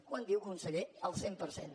quant diu conseller el cent per cent